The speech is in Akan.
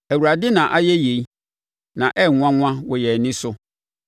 Awurade na ayɛ yei, na ɛyɛ nwanwa wɔ yɛn ani so.